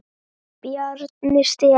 Bjarni Stefán.